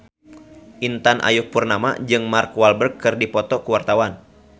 Intan Ayu Purnama jeung Mark Walberg keur dipoto ku wartawan